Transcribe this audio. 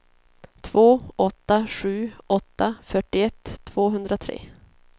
två åtta sju åtta fyrtioett tvåhundratre